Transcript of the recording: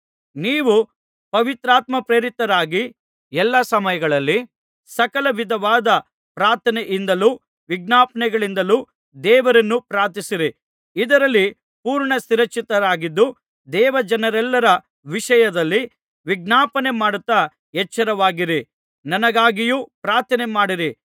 ನೀವು ಪವಿತ್ರಾತ್ಮಪ್ರೇರಿತರಾಗಿ ಎಲ್ಲಾ ಸಮಯಗಳಲ್ಲಿ ಸಕಲವಿಧವಾದ ಪ್ರಾರ್ಥನೆಯಿಂದಲೂ ವಿಜ್ಞಾಪನೆಗಳಿಂದಲೂ ದೇವರನ್ನು ಪ್ರಾರ್ಥಿಸಿರಿ ಇದರಲ್ಲಿ ಪೂರ್ಣ ಸ್ಥಿರಚಿತ್ತರಾಗಿದ್ದು ದೇವಜನರೆಲ್ಲರ ವಿಷಯದಲ್ಲಿ ವಿಜ್ಞಾಪನೆಮಾಡುತ್ತಾ ಎಚ್ಚರವಾಗಿರಿ ನನಗಾಗಿಯೂ ಪ್ರಾರ್ಥನೆ ಮಾಡಿರಿ